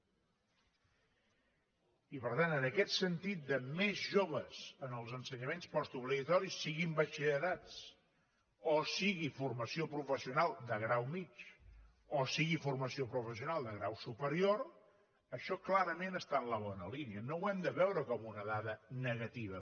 i per tant en aquest sentit de més joves en els ensenyaments postobligatoris siguin batxillerats o sigui formació professional de grau mitjà o sigui formació professional de grau superior això clarament està en la bona línia no ho hem de veure com una dada negativa